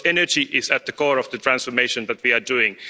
Because energy is at the core of the transformation that we are doing.